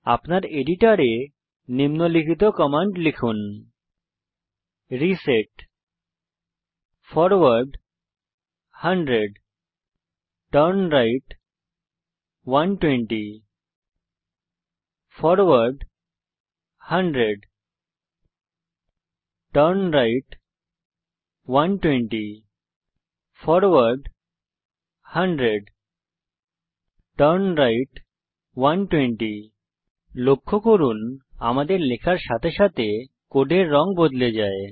আপনার এডিটরে নিম্নলিখিত কমান্ড লিখুন reset forward 100 turn right 120 forward 100 turn right 120 forward 100 turn right 120 লক্ষ্য করুন আমাদের লেখার সাথে সাথে কোডের রঙ বদলে যায়